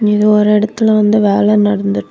இது ஒரு இடத்துல வந்து வேலெ நடந்து.